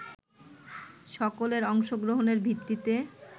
সকলের অংশগ্রহণের ভিত্তিতে